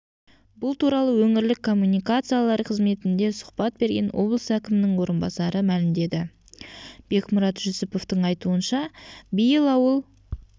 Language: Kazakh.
бұл туралы өңірлік коммуникациялар қызметінде сұхбат берген облыс әкімінің орынбасары мәлімдеді бекмұрат жүсіповтың айтуынша биыл ауыл